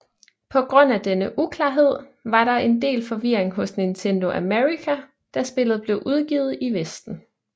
På grund af denne uklarhed var der en del forvirring hos Nintendo America da spillet blev udgivet i Vesten